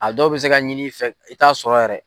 A dɔw bɛ se ka ɲini i fɛ i t'a sɔrɔ yɛrɛ.